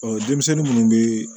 denmisɛnnin munnu bɛ